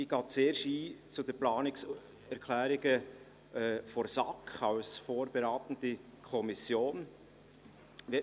Ich gehe zuerst auf die Planungserklärungen der SAK als vorberatende Kommission ein.